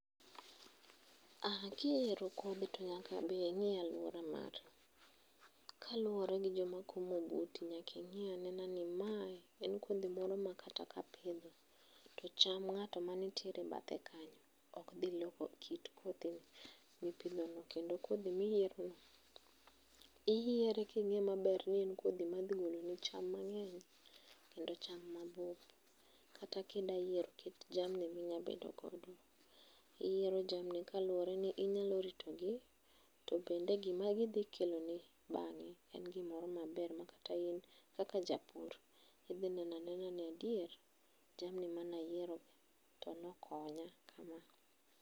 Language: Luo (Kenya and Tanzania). Aah kiyiero kodhi to nyaka be ingi aluora mari, kaluore gi joma komo buti nyaka ingi ane ni mae en kodhi moro ma kata ka apidho to cham ngato manitiere bathe kanyo okdhi loko kit kodhi mipidhono kendo kodhi miyiero no iyiere kingeyo ni en kodhi madhi goloni cham mangeny kendo cham mabup. Kata kidwa yiero kit jamni midwa bedo go, iyiero jamni kalore ni inyalo ritogi tobende gima gidhi keloni bange en gimoro maber makata in kaka japur idhi neno anena ni adier jamni mane ayiero tone okonya kama